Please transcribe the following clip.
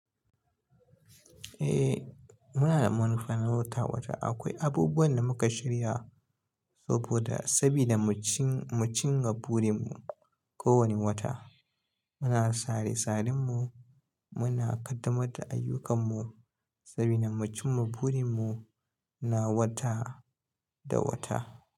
Eh muna da manufan wata-wata. Akwai abubuwan da muka shirya saboda sabida mu cin-mu cin ma burin mu kowani wata. Muna sare sarin mu, muna kaddamar da ayyukan mu, sabida mu cin ma burin mu, na wata da wata.